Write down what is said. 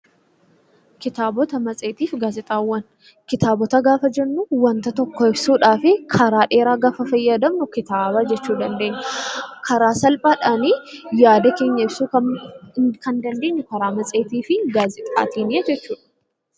Kitaabota gaafa jennu wanta tokko ibsuudhaaf karaa dheeraa gaafa fayyadamnu kitaaba jechuu dandeenya. Karaa salphaadhaan yaada keenya ibsuu kan dandeenyu karaa matseetii fi gaazexaatiini jechuudha